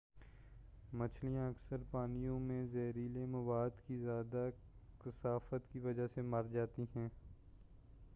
مچھلیاں اکثر پانیوں میں زہریلے مواد کی زیادہ کثافت کی وجہ سے مرجاتی ہیں